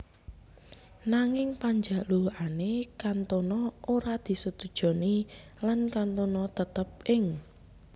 Nanging panjalukane Cantona ora disetujoni lan Cantona tetep ing